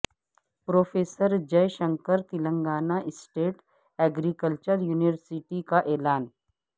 professor Jai Shankar Telangana state agriculture university کا اعلان